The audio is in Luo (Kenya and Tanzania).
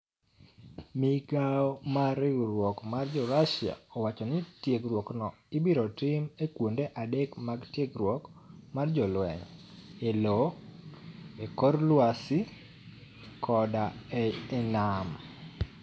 Migawo mar Riwruok mar Jo-Russia owacho nii tiegruokno ibiro tim e kuonide adek mag tiegruok mag jolweniy, e lowo, e kor lwasi, koda e niam.